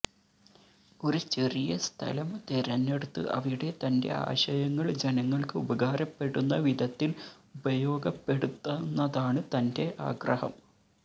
ഒരു ചെറിയ സ്ഥലം തെരഞ്ഞെടുത്ത് അവിടെ തന്റെ ആശയങ്ങൾ ജനങ്ങൾക്ക് ഉപകാരപ്പെടുന്ന വിധത്തിൽ ഉപയോഗപ്പെടുത്തുന്നതാണ് തന്റെ ആഗ്രഹം